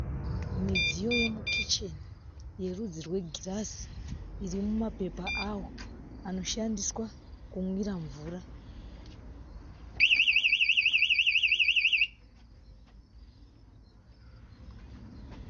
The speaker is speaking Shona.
Midziyo yemukicheni, yerudzi regirazi irimumapepa awo anoshandiswa kunwira mvura.